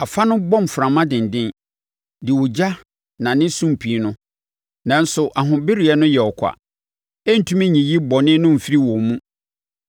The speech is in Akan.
Afa no bɔ mframa denden de ogya nane sumpii no, nanso ahobereɛ no yɛ ɔkwa. Ɛntumi nyiyii bɔne no mfirii wɔn mu.